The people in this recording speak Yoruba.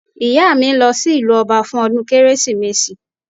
Ìyá mi ń lọ sí ìlú ọba fún ọdún kérésìmesì